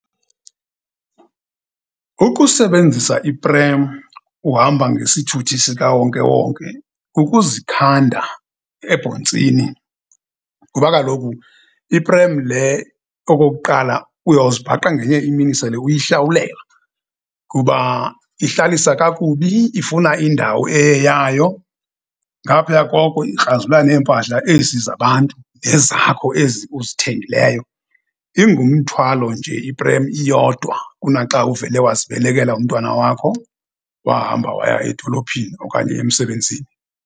Ukusebenzisa iprem uhamba ngesithuthi sikawonkewonke kukuzikhanda ebhontsini. Ngoba kaloku iprem le okokuqala, uyawuzibhaqa ngenye imini sele uyihlawulela kuba ihlalisa kakubi, ifuna indawo eyeyayo, ngaphaya koko ikrazula neempahla ezi zabantu nezakho ezi uzithengileyo. Ingumthwalo nje iprem iyodwa kunaxa uvele wazibelekela umntwana wakho wahamba waya edolophini okanye emsebenzini.